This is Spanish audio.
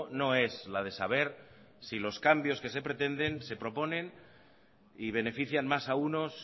no es la de saber si los cambios que se pretenden se proponen y benefician más a unos